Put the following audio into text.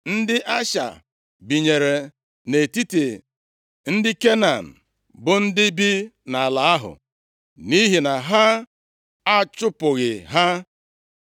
Ndị Asha binyere nʼetiti ndị Kenan bụ ndị bi nʼala ahụ, nʼihi na ha achụpụghị ha.